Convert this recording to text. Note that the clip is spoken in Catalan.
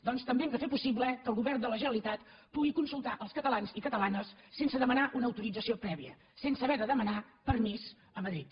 doncs també hem de fer possible que el govern de la generalitat pugui consultar els catalans i catalanes sense demanar una autorització prèvia sense haver de demanar permís a madrid